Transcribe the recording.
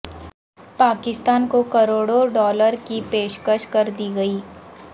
پاکستان کو کروڑوں ڈالروں کی پیشکش کر دی گئی